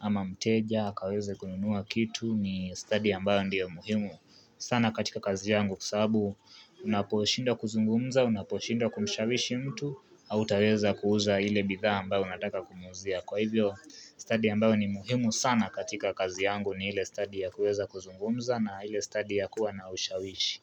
ama mteja, akaweze kununua kitu ni study ambayo ndiyo muhimu sana katika kazi yangu kwa sababu unaposhinda kuzungumza, unaposhinda kumshawishi mtu au taweza kuuza ile bidhaa ambayo unataka kumuuzia Kwa hivyo study ambayo ni muhimu sana katika kazi yangu ni ile study ya kuweza kuzungumza na ile study ya kuwa naushawishi.